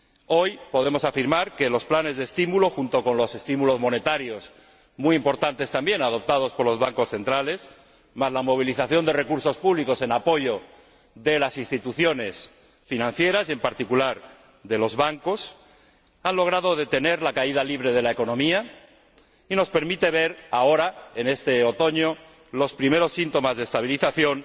Hoy podemos afirmar que los planes de estímulo, junto con los estímulos monetarios muy importantes también adoptados por los bancos centrales, más la movilización de recursos públicos en apoyo de las instituciones financieras y, en particular, de los bancos, han logrado detener la caída libre de la economía y nos permiten ver ahora, en este otoño, los primeros síntomas de estabilización,